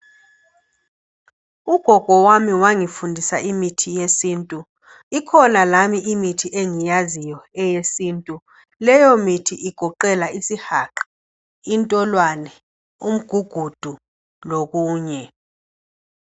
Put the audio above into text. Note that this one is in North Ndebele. Ugogo wami wangifundisa imithi yesintu. lkhona lami imithi engiyaziyo eyesintu. Leyo mithi igoqela isihaqa, intolwane, umugugudu lokunye.